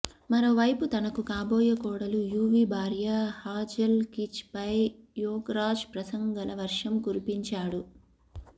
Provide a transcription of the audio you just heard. మరోవైపు తనకు కాబోయే కోడలు యువీ భార్య హాజెల్ కీచ్ పై యోగరాజ్ ప్రశంసల వర్షం కురిపించాడు